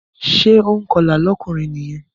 Ṣé ònkọlà lọ́kùnrin nìyẹn?